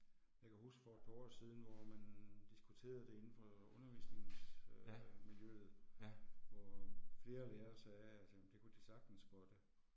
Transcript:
Jeg kan huske for et par år siden hvor man diskuterede det indenfor undervisnings øh miljøet hvor flere lærere sagde at jamen det kunne de sagtens spotte